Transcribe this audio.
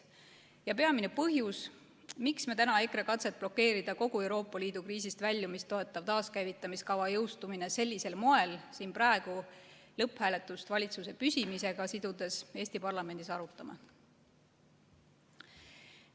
See on ka peamine põhjus, miks me täna EKRE katset blokeerida kogu Euroopa Liidu kriisist väljumist toetav taaskäivitamiskava jõustumine sellisel moel siin praegu lõpphääletust valitsuse püsimisega sidudes Eesti parlamendis arutame.